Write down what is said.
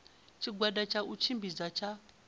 tshigwada tsha u tshimbidza tsha